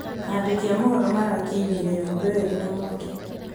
Andĩki a mohoro marakinyire nyũmba io ĩrĩ na mwaki